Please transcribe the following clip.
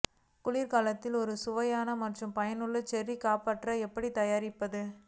குளிர்காலத்தில் ஒரு சுவையான மற்றும் பயனுள்ள செர்ரி காப்பாற்ற எப்படி தயாரிப்பது